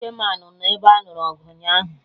Chiamanụ nọ ebe anụrụ ọgụ ụnyaahụ